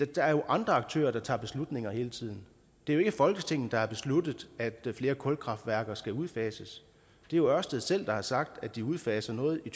der er jo andre aktører der tager beslutninger hele tiden det er ikke folketinget der har besluttet at flere kulkraftværker skal udfases det er ørsted selv der har sagt at de udfaser noget i